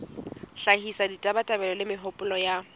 hlahisa ditabatabelo le mehopolo ya